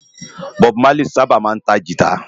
Bòb Málí sãbá má ntá gìtá